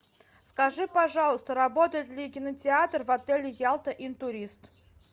скажи пожалуйста работает ли кинотеатр в отеле ялта интурист